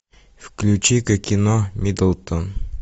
включи ка кино миддлтон